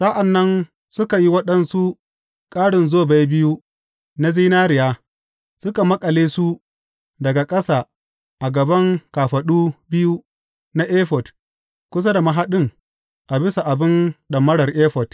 Sa’an nan suka yi waɗansu ƙarin zobai biyu na zinariya, suka maƙale su daga ƙasa a gaban kafaɗu biyu na efod kusa da mahaɗin a bisa abin ɗamarar efod.